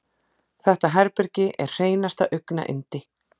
Þetta herbergi er hreinasta augnayndi.